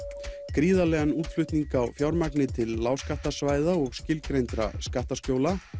gríðarlegan útflutning á fjármagni til lágskattasvæða og skilgreindra skattaskjóla